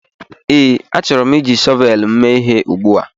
ee, achọrọ m iji shọvel m mee ihe ugbu a